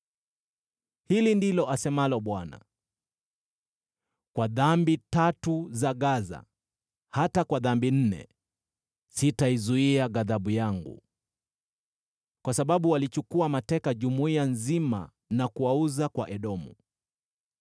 Hili ndilo asemalo Bwana : “Kwa dhambi tatu za Gaza, hata kwa dhambi nne, sitaizuia ghadhabu yangu. Kwa sababu walichukua mateka jumuiya nzima na kuwauza kwa Edomu,